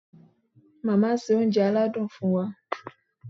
Màmá ṣe oúnjẹ aládùn fún wa.